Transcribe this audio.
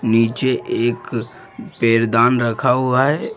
नीचे एक पैरदान रखा हुआ है।